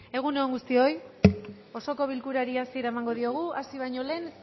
egun on guztioi osoko bilkurari hasiera emango diogu hasi baino lehen